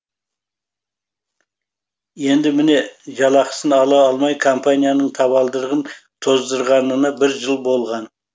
енді міне жалақысын ала алмай компанияның табалдырығын тоздырғанына бір жыл болған